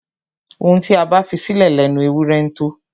Ohun tí a bá fisílẹ̀ lẹnu ewúrẹ ńtó.